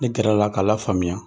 Ne gɛrɛla k'a lafaamiya.